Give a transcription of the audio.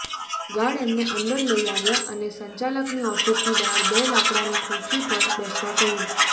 guard એમને અંદર લઈ આવ્યા અને સંચાલકની ઓફીસની બહાર બે લાકડાની ખુરશી પર બેસવા કહ્યું